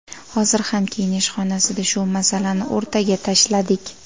Hozir ham kiyinish xonasida shu masalani o‘rtaga tashladik.